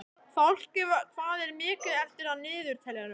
Fálki, hvað er mikið eftir af niðurteljaranum?